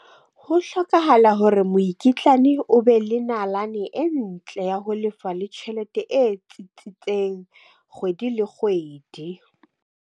Ho hlokahala hore mokitlane o be le nalane e ntle ya ho lefa le tjhelete e tsitsitseng kgwedi le kgwedi.